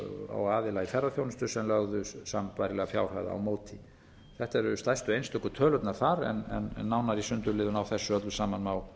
og aðila í ferðaþjónustu sem lögðu sambærilega fjárhæð á móti þetta eru stærstu einstöku tölurnar þar en nánari sundurliðun á þessu öllu saman má